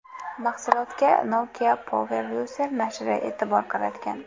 Mahsulotga Nokiapoweruser nashri e’tibor qaratgan .